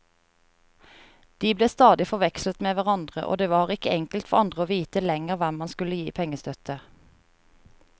De ble stadig forvekslet med hverandre, og det var ikke enkelt for andre å vite lenger hvem man skulle gi pengestøtte.